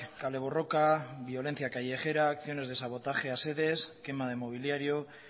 kale borroka violencia callejera acciones de sabotaje a sedes quema de mobiliario